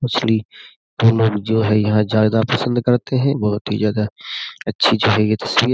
मछली वो लोग जो है यहां ज्यादा पसंद करते हैं बहुत ही ज्यादा अच्छी जो है ये तस्वीर।